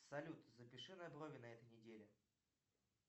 салют запиши на брови на этой неделе